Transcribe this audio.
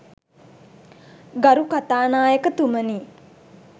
ගරු කතානායකතුමනි